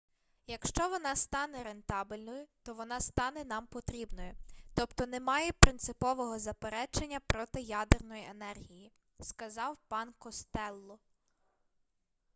якщо вона стане рентабельною то вона стане нам потрібною тобто немає принципового заперечення проти ядерної енергії - сказав пан костелло